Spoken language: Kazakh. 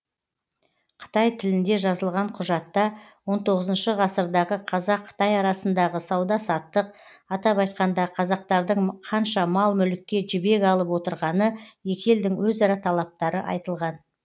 қытай тілінде жазылған құжатта он тоғызыншы шы ғасырдағы қазақ қытай арасындағы сауда саттық атап айтқанда қазақтардың қанша мал мүлікке жібек алып отырғаны екі елдің өзара талаптары айтылған